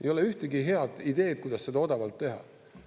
Ei ole ühtegi head ideed, kuidas seda odavalt teha.